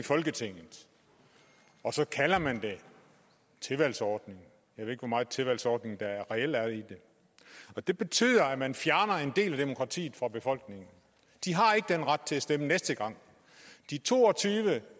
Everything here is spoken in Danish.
i folketinget og så kalder man det tilvalgsordning jeg ved ikke hvor meget tilvalgsordning der reelt er i det det betyder at man fjerner en del af demokratiet fra befolkningen de har ikke den ret til at stemme næste gang de to og tyve